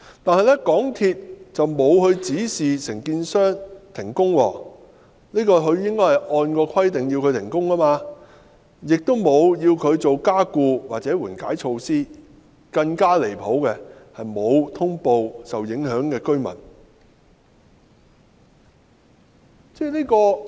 不過，港鐵公司並無按規定指示承建商停工，而港鐵公司亦沒有要求承建商採取加固或緩解措施，更離譜的是，港鐵公司並無通報受影響的居民。